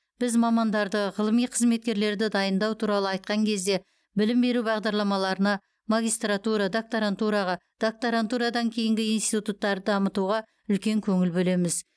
біз мамандарды ғылыми қызметкерлерді дайындау туралы айтқан кезде білім беру бағдарламаларына магистратура доктарантураға доктарантурадан кейінгі институттарды дамытуға үлкен көңіл бөлеміз